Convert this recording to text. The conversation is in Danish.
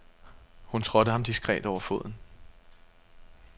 Hun trådte ham diskret over foden.